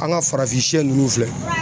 An ka farafinsɛ ninnu filɛ